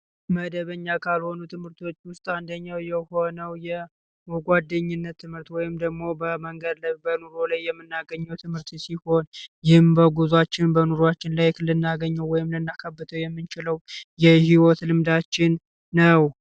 መደበኛ ካልሆኑ ትምህርቶች ውስጥ አንደኛው የሆነ የ ጓደኝነት ወይም ደግሞ በመንገድ የምናገኘው ትምህር ሲሆን በጉዟችን በኑሯችን እንዳገኘው የህይወት ልምዳችን ነው